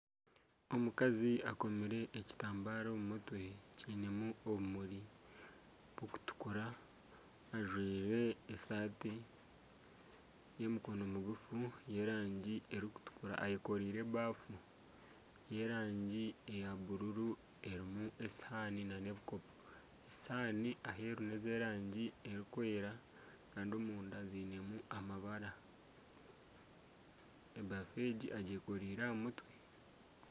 Omukazi akomire ekitambara omu mutwe kiinemu obumuri burikutukura, ajwaire esaati y'emikono migufu y'erangi erikutukura, ayekoreire ebaafu y'erangi ya bururu. Erimu esihani nana ebikopo. Esihani ahi eri nah'erangi erikwera kandi omunda harimu amabara. Ebaafu egi agekoreire aha mutwe.